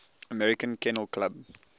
american kennel club